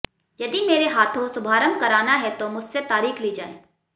यदि मेरे हाथों शुभारंभ कराना है तो मुझसे तारीख ली जाए